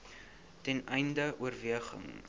ten einde oorweging